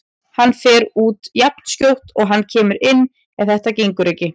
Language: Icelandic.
Hann fer út jafnskjótt og hann kemur inn ef þetta gengur ekki.